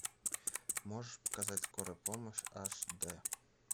можешь показать скорая помощь аш д